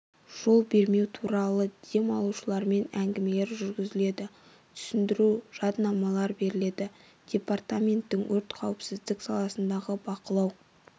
жол бермеу туралы дем алушыларымен әнгімелер жүргізіледі түсіндіру жадынамалар беріледі департаменттің өрт қауіпсіздік саласындағы бақылау